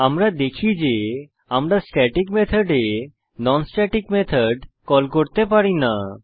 আমরা দেখি যে আমরা স্ট্যাটিক মেথডে নন স্ট্যাটিক মেথড কল করতে পারি না